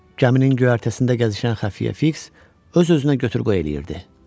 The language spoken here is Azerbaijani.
Gəminin göyərtəsində gəzişən xəfiyyə Fiks öz-özünə götür-qoy eləyirdi.